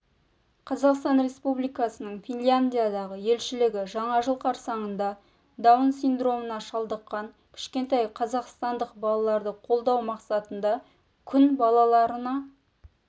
қазақстан республикасының финляндиядағы елшілігі жаңа жыл қарсаңында даун синдромына шалдыққан кішкентай қазақстандық балаларды қолдау мақсатында күн балаларына